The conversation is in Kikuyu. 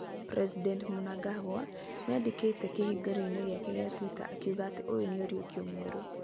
President Mnangagwa nĩandĩkĩte kĩhũngĩroinĩ gĩake kĩa Twitter akiugaga atĩ ũyũ nĩ ũriũkio mwerũ.